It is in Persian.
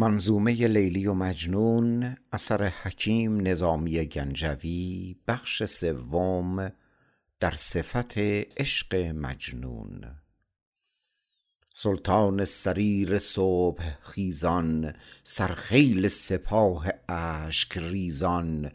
سلطان سریر صبح خیزان سر خیل سپاه اشک ریزان